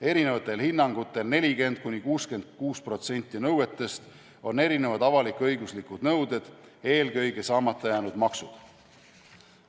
Erinevatel hinnangutel on 40–66% nõuetest avalik-õiguslikud nõuded, eelkõige saamata jäänud maksud.